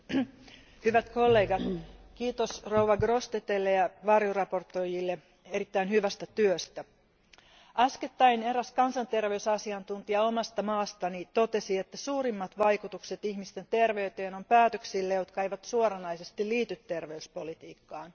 Arvoisa puhemies, hyvät kollegat, kiitos esittelijä Grossetêtelle ja varjoesittelijöille erittäin hyvästä työstä. Äskettäin eräs kansanterveysasiantuntija omasta maastani totesi, että suurimmat vaikutukset ihmisten terveyteen on päätöksillä, jotka eivät suoranaisesti liity terveyspolitiikkaan.